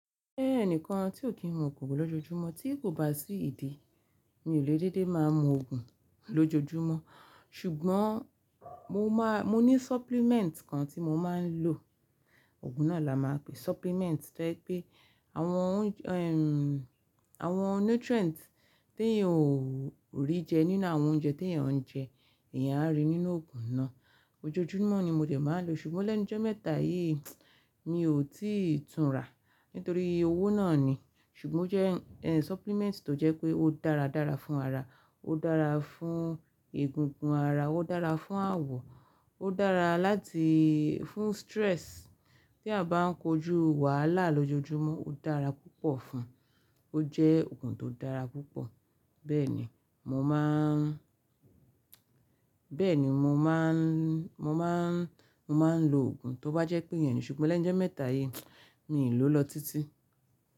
Jẹ́ ẹnìkan tí ò kí n mu ògùn lójoojúmọ́ tí kò bá sí ìdí, mi ò lè dédé máa mu ògùn lójoojúmọ́. Ṣùgbọ́n mo máa, mo ní supplement kan tí mo máa ń lò. Ògùn náà la máa pe supplement tó jẹ́ pé àwọn, ẹm, àwọn nutrient tí èèyàn ò rí jẹ nínú àwọn oúnjẹ tí ẹ̀ ń jẹ, èèyàn á rí nínú ògùn náà. Ojojúmọ́ ni mo lè máa lò, ṣùgbọ́n lẹ́ńjọ́ mẹ́ta yìí mi ò tíì tún rà nítorí owó náà ni. Ṣùgbọ́n ó jẹ́, ẹ, supplement tó jẹ́ pé ó dára dára fún ara. Ó dára fún egungun ara, ó dára fún àwọ̀, ó dára láti-- fún stress tí a bá ń kojú wàhálà lójoojúmọ́ ó dára púpọ̀ fún. Ó jẹ́ ògùn tó dára púpọ̀. Bẹ́ẹ̀ ni mo máa ń, bẹ́ẹ̀ ni mo máa ń, mo máa ń, mo máa ń lo ògùn tó bá jẹ́ pé ìyẹn nì. Ṣùgbọ́n lẹ́ńu ijọ́ mẹ́ta yìí mi ò lò lọ títí.